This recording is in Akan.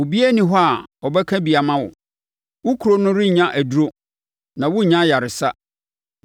Obiara nni hɔ a ɔbɛka bi ama wo, wo kuro no rennya aduro, na worennya ayaresa.